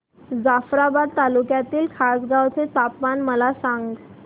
जाफ्राबाद तालुक्यातील खासगांव चे तापमान मला सांग